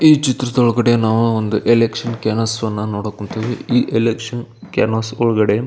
ಈ ಚಿತ್ರದ್ ಒಳಗಡೆ ನಾವು ಒಂದು ಎಲೆಕ್ಷನ್ ಕ್ಯಾನ್ವಾಸ್ ಗಳನ್ನ ನೋಡಕ್ ಹೊಂಥಿವಿ ಈ ಎಲೆಕ್ಷನ್ ಕ್ಯಾನ್ವಾಸ್ ಒಳಗಡೆ --